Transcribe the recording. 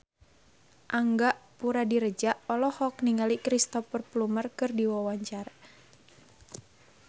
Angga Puradiredja olohok ningali Cristhoper Plumer keur diwawancara